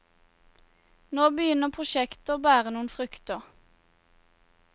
Nå begynner prosjektet å bære noen frukter.